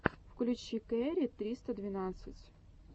включи кэрри триста двенадцать